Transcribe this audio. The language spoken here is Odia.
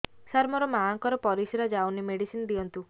ସାର ମୋର ମାଆଙ୍କର ପରିସ୍ରା ଯାଉନି ମେଡିସିନ ଦିଅନ୍ତୁ